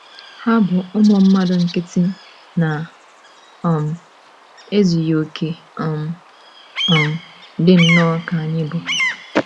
Ha bụ ụmụ mmadụ nkịtị na - um ezughị okè um, um dị nnọọ ka anyị bụ.